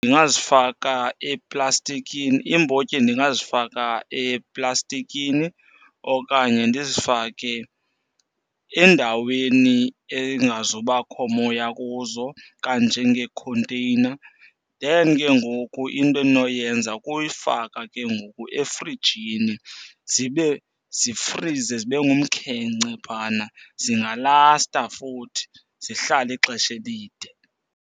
Ndingazifaka eplastikini, iimbotyi ndingazifaka eplastikini okanye ndizifake endaweni engazubakho moya kuzo kanjengeekhonteyina. Then ke ngoku into endinoyenza kuyifaka ke ngoku efrijini zibe zifrize zibe ngumkhenkce phana. Zingalasta futhi zihlale ixesha elide.